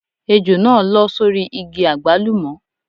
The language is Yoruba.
Ejò náà lọ́ sórí igi àgbálùmọ́.